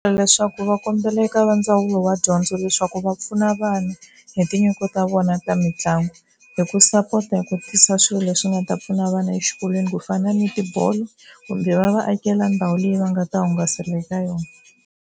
Leswaku va kombela eka va ndzawulo ya dyondzo leswaku va pfuna vanhu hi tinyiko ta vona ta mitlangu, hi ku sapota hi ku tisa swilo leswi nga ta pfuna vana exikolweni ku fana ni tibolo kumbe va va akela ndhawu leyi va nga ta hungasela eka yona.